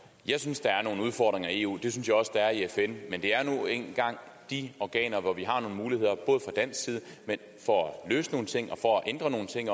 jeg synes der er nogle udfordringer i eu det synes jeg også der er i fn men det er nu engang de organer hvor vi har nogle muligheder for at løse nogle ting og for at ændre nogle ting